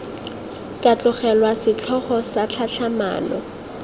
ka tlogelwa setlhogo sa tlhatlhamano